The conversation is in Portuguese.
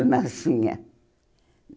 marchinha.